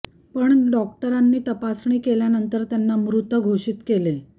पण डॉक्टरांनी तपासणी केल्यानंतर त्यांना मृत घोषित केले